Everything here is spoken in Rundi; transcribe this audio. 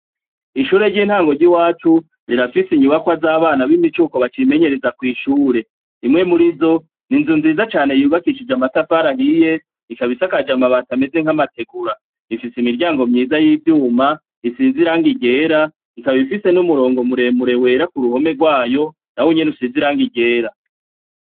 Ishure ry'intango ry'iwacu, rirafise inyubakwa z'abana b'imicuko bacimenyereza kw'ishure. Imwe muri zo, ni inzu nziza cane yubakishije amatafara ahiye, ikaba isakaje amabati ameze nk'amategura. Ifise imiryango myiza y'ivyuma, isize irangi ryera, ikaba ifise n'umurongo muremure wera ku ruhome rwayo, na wo nyene usize irangi ryera.